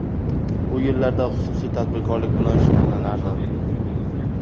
U yillarda xususiy tadbirkorlik bilan shug‘ullanardim.